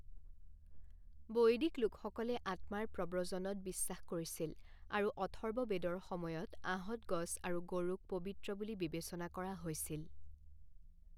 বৈদিক লোকসকলে আত্মাৰ প্ৰব্ৰজনত বিশ্বাস কৰিছিল, আৰু অথৰ্ববেদৰ সময়ত আঁহত গছ আৰু গৰুক পবিত্ৰ বুলি বিবেচনা কৰা হৈছিল।